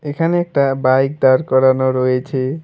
এখানে একটা বাইক দাঁড় করানো রয়েছে।